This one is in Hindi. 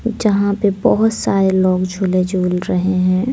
जहां पे बहोत सारे लोग झूले झूल रहे है।